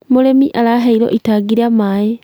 mũrĩmi araheirwo itangi rĩa maĩ